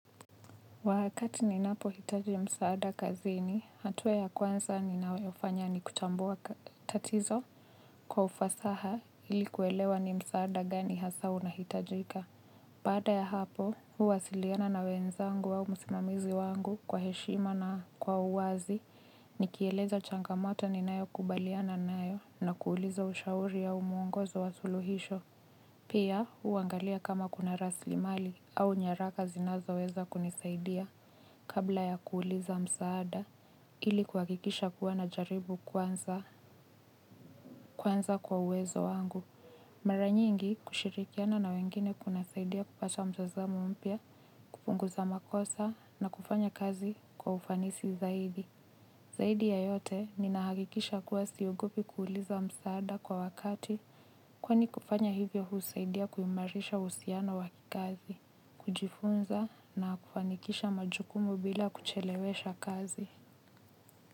Wakati ninapohitaji msaada kazini, hatua ya kwanza ninayofanya ni kutambua tatizo kwa ufasaha ili kuelewa ni msaada gani hasa unaohitajika. Baada ya hapo, huwasiliana na wenzangu au msimamizi wangu kwa heshima na kwa uwazi, nikieleza changamoto ninayokubaliana nayo na kuuliza ushauri au mwongozo wa suluhisho. Pia, huangalia kama kuna rasilimali au nyaraka zinazoweza kunisaidia. Kabla ya kuuliza msaada ili kuhakikisha kuwa na jaribu kwanza kwa uwezo wangu. Mara nyingi kushirikiana na wengine kunasaidia kupata mtazamo mpya, kupunguza makosa na kufanya kazi kwa ufanisi zaidi. Zaidi ya yote ninahakikisha kuwa siogopi kuuliza msaada kwa wakati kwani kufanya hivyo husaidia kuimarisha uhusiano wa kikazi, kujifunza na kufanikisha majukumu bila kuchelewesha kazi.